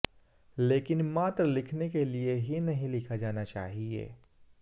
लेकिन मात्र लिखने के लिए ही नहीं लिखा जाना चाहिए